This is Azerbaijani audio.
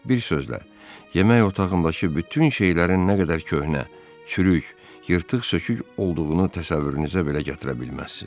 Bir sözlə, yemək otağındakı bütün şeylərin nə qədər köhnə, çürük, yırtıq-sökük olduğunu təsəvvürünüzə belə gətirə bilməzsiz.